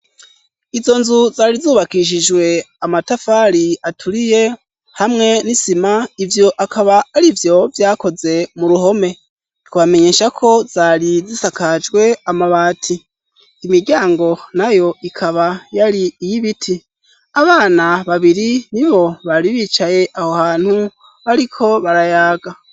Izo nzu zari zubakishijwe amatafari aturiye hamwe n'isima; ivyo akaba ari vyo vyakoze mu ruhome. Twomenyesha ko zari zisakajwe amabati. Imiryango na yo ikaba yari iy' ibiti. Abana babiri ni bo bari bicaye aho hantu bariko barayaga.